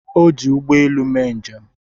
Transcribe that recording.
O ji ụgbọ elu mee njem.